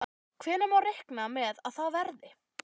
Hvenær má reikna með að það verði?